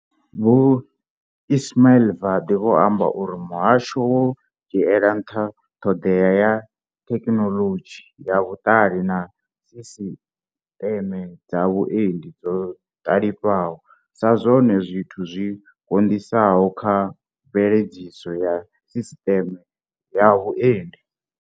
Vho Ismail Vadi vho amba uri muhasho wo dzhiela nṱha ṱhoḓea ya thekhinolodzhi ya vhuṱali na sisiteme dza vhuendi dzo ṱali fhaho sa zwone zwithu zwi konisaho kha mveledziso ya sisiteme ya vhuendi.